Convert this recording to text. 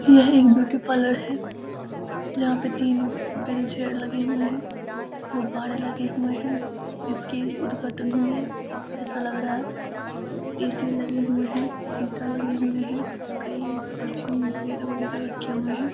यह एक beauty parlour है। जहाँ पे तीन व्हील चेयर लगे हुए है गुब्बारे लगे हुए है इसकी उदघाटन हुई है ए.सी. लग रहा है ए.सी. लगे हुए है शीशा लगे हुए है कई परफ्यूम वगेरा-वगेरा रखे हुए है।